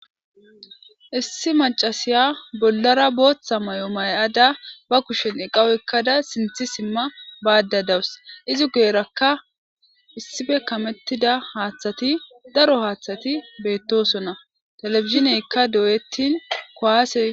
issi macasiya bollara booththa may7o may7ada ba kushen eqawoekkada sinthi simma baadda dawus izi geerakka issife kamettida haaththati daro haaththati beettosonna telefizineykka dooyettin koase